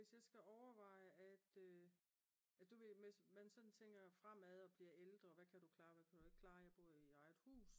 Hvis jeg skal overveje at du ved hvis man sådan tænker fremad og bliver ældre og hvad kan du klare og hvad kan du ikke klare og jeg bor i eget hus